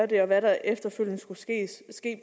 det og hvad der efterfølgende skulle